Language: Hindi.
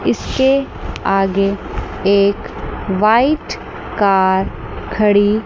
इससे आगे एक वाइट कर खड़ी--